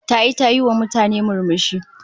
Tayi ta yiwa mutane murmushi